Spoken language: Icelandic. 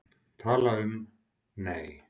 Tala um, nei!